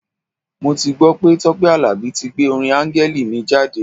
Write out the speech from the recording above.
Mo ti gbọ́ pé Tọ́pẹ́ Àlàbí tí gbé orin Áńgẹ́lì mi jáde.